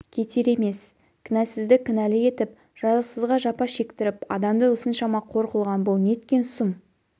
кетер емес кінәсізді кінәлі етіп жазықсызға жапа шектіріп адамды осыншама қор қылған бұл неткен сұм